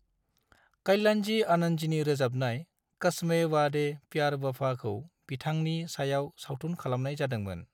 कल्याणजी-आनंदजीनि रोजाबनाय 'कस्मे वाड़े प्यार वफा'खौ बिथांनि सायाव सावथुन खालामनाय जादोंमोन।